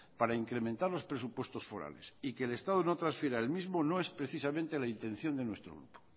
para incrementar los presupuestos forales y que el estado no transfiera el mismo no es precisamente la intención de nuestro grupo